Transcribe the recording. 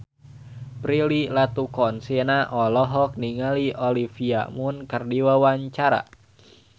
Prilly Latuconsina olohok ningali Olivia Munn keur diwawancara